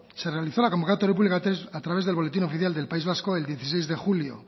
se realizó la convocatoria pública a través del boletín oficial del país vasco el dieciséis de julio